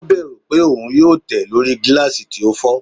O bẹru pe oun yoo tẹ lori gilasi ti o fọ